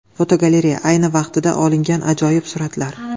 Fotogalereya: Ayni vaqtida olingan ajoyib suratlar.